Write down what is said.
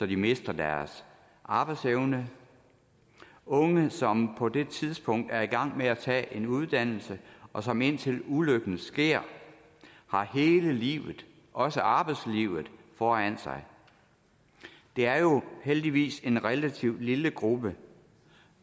de mister deres arbejdsevne unge som på det tidspunkt er i gang med at tage en uddannelse og som indtil ulykken sker har hele livet også arbejdslivet foran sig det er jo heldigvis en relativt lille gruppe